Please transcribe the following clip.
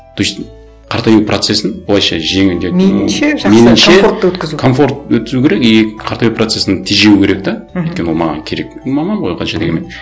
то есть қартаю процесін былайша жеңілдету комфортты өткізу керек и қартаю процесін тежеу керек те мхм өйткені ол маған керек и мамам ғой ол қанша дегенмен